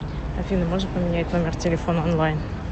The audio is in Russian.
афина можно поменять номер телефона онлайн